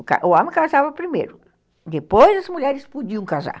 O homem casava primeiro, depois as mulheres podiam casar.